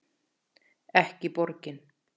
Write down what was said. Ekki borgin.